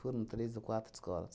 Foram três ou quatro escolas.